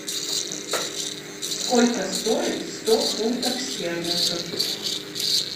сколько стоит сто фунтов стерлингов